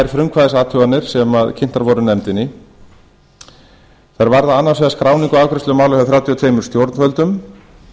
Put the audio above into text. inn á tvær frumkvæðisathuganir ber kynntar voru nefndinni þær varða annars vegar skráningu og afgreiðslu mála hjá þrjátíu og tvö stjórnvöldum